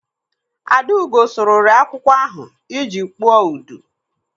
Adaugo sụrụri akwụkwọ ahụ iji kpụọ udu.